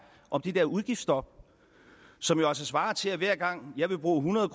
om det der udgiftsstop som jo altså svarer til at hver gang jeg vil bruge hundrede